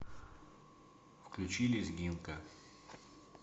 включи лезгинка